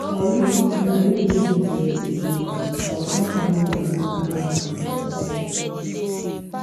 i read old i read old message again and i come finally understand am from their side